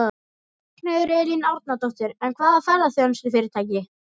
Ragnheiður Elín Árnadóttir: En hvaða ferðaþjónustufyrirtæki?